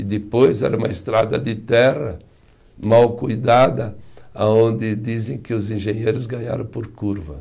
E depois era uma estrada de terra mal cuidada, aonde dizem que os engenheiros ganharam por curva.